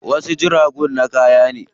Wasu jiragun na kaya ne.